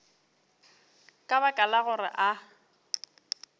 ka baka la gore a